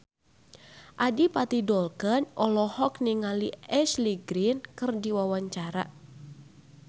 Adipati Dolken olohok ningali Ashley Greene keur diwawancara